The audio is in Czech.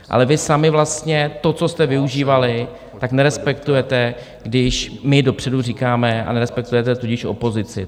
Ale vy sami vlastně to, co jste využívali, tak nerespektujete, když my dopředu říkáme, a nerespektujete tudíž opozici.